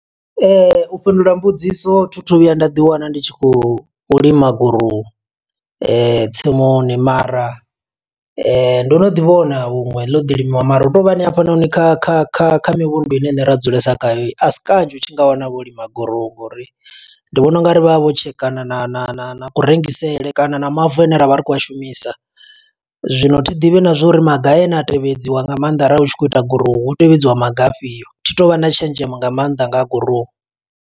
U fhindula mbudziso, thi thu vhuya nda ḓi wana ndi tshi khou lima gurowu tsimuni. Mara ndo no ḓi vhona huṅwe ḽo ḓi limiwa, mara hu to vha ni hafhanoni kha kha kha kha mivhundu ine riṋe ra dzulesa khayo. Asi kanzhi u tshi nga wana vho lima gurowu, ngo uri ndi vhona u nga ri vha vha vho tshekana na na na na ku rengisele, kana na mavu ane ra vha ri khou a shumisa. Zwino thi ḓivhi na zwo uri maga ane a tevhedziwa nga maanḓa arali hu tshi khou ita gurowu, hu tevhedziwa maga afhio, Thi tu vha na tshenzhemo nga maanḓa nga ha gurowu.